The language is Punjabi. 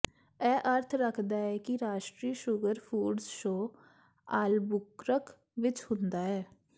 ਇਹ ਅਰਥ ਰੱਖਦਾ ਹੈ ਕਿ ਰਾਸ਼ਟਰੀ ਸ਼ੂਗਰ ਫੂਡਜ਼ ਸ਼ੋਅ ਆਲ੍ਬੁਕਰਕ ਵਿੱਚ ਹੁੰਦਾ ਹੈ